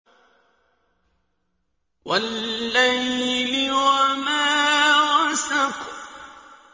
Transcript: وَاللَّيْلِ وَمَا وَسَقَ